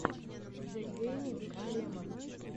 зе гейминг лемон